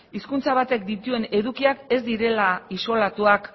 hizkuntza batek dituen edukiak ez direla isolatuak